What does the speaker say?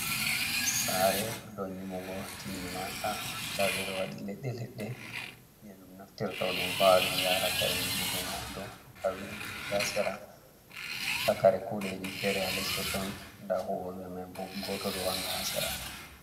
Saare ɗo dow nyiɓugo timminaaka, ndaa ɓe ɗo waɗi leɗɗe-leɗɗe je ɗum naftirta ɗum va'a ɗum yara kare nyiɓugo mai ha dow, nda windoji ha sera, nda kare kuuɗeji fere ha les totton, nda huwooɓe mai bo, gooto ɗo wanga ha sera.